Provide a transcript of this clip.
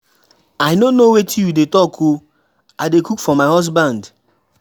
I no know wetin you dey talk oo, I dey cook for my husband.